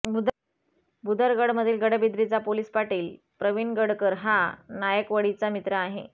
भुदरगडमधील गडबिद्रीचा पोलिस पाटील प्रवीण गडकर हा नायकवडीचा मित्र आहे